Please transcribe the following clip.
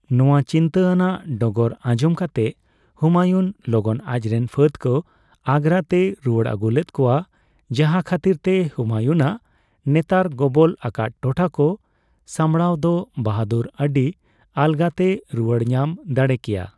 ᱱᱚᱣᱟ ᱪᱤᱱᱛᱟᱹ ᱟᱱᱟᱜ ᱰᱚᱜᱚᱨ ᱟᱧᱡᱚᱢ ᱠᱟᱛᱮᱫ ᱦᱩᱢᱟᱭᱩᱱ ᱞᱚᱜᱚᱱ ᱟᱡᱨᱮᱱ ᱯᱷᱟᱹᱫ ᱠᱚ ᱟᱜᱨᱟ ᱛᱮᱭ ᱨᱩᱣᱟᱹᱲ ᱟᱹᱜᱩ ᱞᱮᱫ ᱠᱚᱣᱟ ᱡᱟᱦᱟ ᱠᱷᱟᱹᱛᱤᱨ ᱛᱮ ᱦᱩᱢᱟᱭᱩᱱᱟᱜ ᱱᱮᱛᱟᱨ ᱜᱚᱵᱚᱞ ᱟᱠᱟᱫ ᱴᱚᱴᱷᱟ ᱠᱚ ᱥᱟᱢᱵᱽᱲᱟᱣ ᱫᱚ ᱵᱟᱦᱟᱫᱩᱨ ᱟᱹᱰᱤ ᱟᱞᱜᱟᱛᱮᱭ ᱨᱩᱣᱟᱹᱲ ᱧᱟᱢ ᱫᱟᱲᱮᱠᱮᱭᱟ ᱾